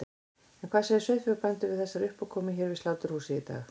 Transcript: En hvað segja sauðfjárbændur við þessari uppákomu hér við sláturhúsið í dag?